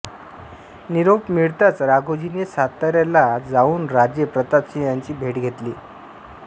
निरोप मिळताच राघोजीने सातायाला जाऊन राजे प्रतापसिंह यांची भेट घेतली